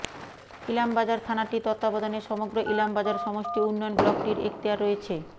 ইলামবাজার থানাটির তত্ত্বাবধানে সমগ্র ইলামবাজার সমষ্টি উন্নয়ন ব্লকটির এক্তিয়ার রয়েছে